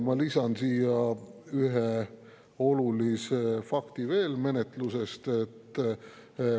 Ma lisan siia veel ühe olulise fakti menetlusest.